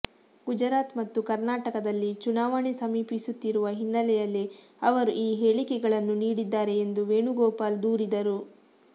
ಗುಜರಾತ್ ಮತ್ತು ಕರ್ನಾಟಕದಲ್ಲಿ ಚುನಾವಣೆ ಸಮೀಪಿಸುತ್ತಿರುವ ಹಿನ್ನೆಲೆಯಲ್ಲಿ ಅವರು ಈ ಹೇಳಿಕೆಗಳನ್ನು ನೀಡಿದ್ದಾರೆ ಎಂದು ವೇಣುಗೋಪಾಲ್ ದೂರಿದರು